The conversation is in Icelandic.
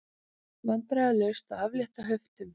Vandræðalaust að aflétta höftum